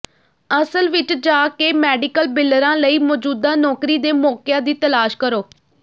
ਅਸਲ ਵਿਚ ਜਾ ਕੇ ਮੈਡੀਕਲ ਬਿਲਰਾਂ ਲਈ ਮੌਜੂਦਾ ਨੌਕਰੀ ਦੇ ਮੌਕਿਆਂ ਦੀ ਤਲਾਸ਼ ਕਰੋ